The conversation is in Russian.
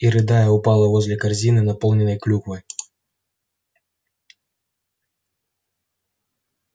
и рыдая упала возле корзины наполненной клюквой